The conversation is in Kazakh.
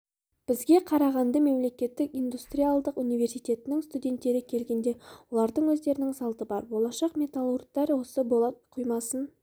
бізге қарағанды мемлекеттік индустриалдық университетінің студенттері келгенде олардың өздерінің салты бар болашақ металлуртар осы болат құймасын